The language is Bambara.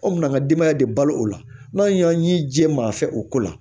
Anw bɛna denbaya de balo o la n'an y'an jɛ maa fɛ o ko la